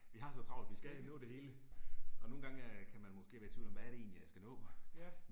Vi har så travlt, vi skal nå det hele. Og nogen gange øh kan man måske være i tvivl om, hvad er det egentlig jeg skal nå